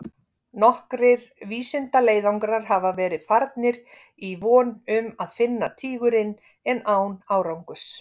Nokkrir vísindaleiðangrar hafa verið farnir í von um að finna tígurinn en án árangurs.